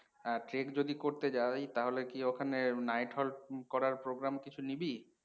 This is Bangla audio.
আহ trek যদি করতে যাই তাহলে কি ওখানে night halt করার program কিছু নিবি?